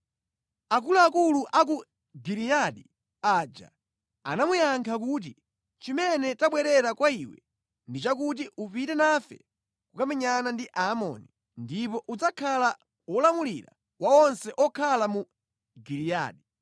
Akuluakulu a ku Giliyadi aja anamuyankha kuti, “Chimene tabwerera kwa iwe ndi chakuti upite nafe kukamenyana ndi Aamoni, ndipo udzakhala wolamulira wa onse okhala mu Giliyadi.”